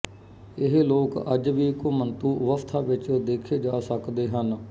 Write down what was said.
ਇਹ ਲੋਕ ਅੱਜ ਵੀ ਘੁਮੰਤੂ ਅਵਸਥਾ ਵਿੱਚ ਦੇਖੇ ਜਾ ਸਕਦੇ ਹਨ